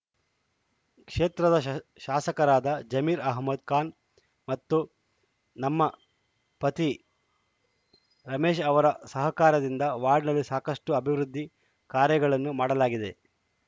ಕ್ಷೇತ್ರದ ಶ ಶಾಸಕರಾದ ಜಮೀರ್‌ ಅಹಮ್ಮದ್‌ ಖಾನ್‌ ಅವರು ಮತ್ತು ನಮ್ಮ ಪತಿ ರಮೇಶ್‌ ಅವರ ಸಹಕಾರದಿಂದ ವಾರ್ಡ್ ನಲ್ಲಿ ಸಾಕಷ್ಟುಅಭಿವೃದ್ಧಿ ಕಾರ್ಯಗಳನ್ನು ಮಾಡಲಾಗಿದೆ